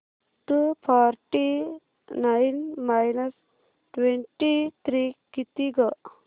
to forty nine minus twenty three किती गं